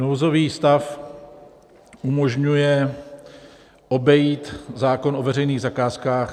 Nouzový stav umožňuje obejít zákon o veřejných zakázkách.